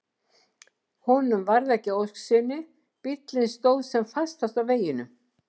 Honum varð ekki að ósk sinni, bíllinn stóð sem fastast á veginum.